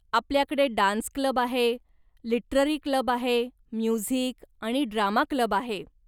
आपल्याकडे dance club आहे, literary club आहे, म्युझिक आणि ड्रामा क्लब आहे.